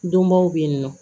Donbaw bɛ yen nɔ